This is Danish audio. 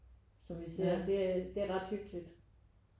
Som vi ser det er det er ret hyggeligt